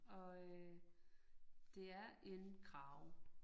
Og øh det er en krage